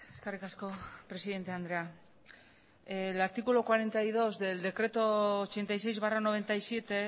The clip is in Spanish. eskerrik asko presidente andrea el artículo cuarenta y dos del decreto ochenta y seis barra noventa y siete